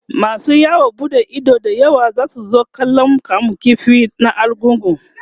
masu yawon buɗe Ido da yawa zasu zo kallan kamun ƙifi na argungu